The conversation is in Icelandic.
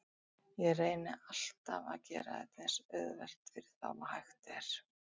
Ég reyni alltaf að gera þetta eins auðvelt fyrir þá og hægt er.